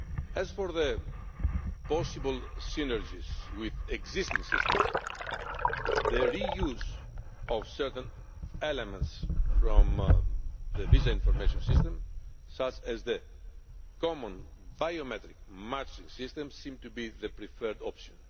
As for possible synergies with existing systems, the re use of certain elements from the visa information system, such as the common biometric matching system, seems to be the preferred option.